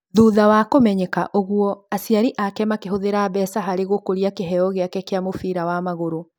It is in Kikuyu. Thutha wa kũmenya ũguo, aciari ake makĩhũthĩra mbeca harĩ gũkũria kĩheo giake kĩa mubĩra wa magũrũ.